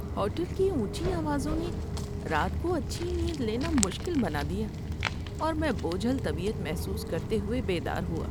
Hotel کی اونچی آوازوں نے رات کو اچھی نیند لینا مشکل بنا دیا، اور میں بوجھل طبیعت محسوس کرتے ہوئے بیدار ہوا۔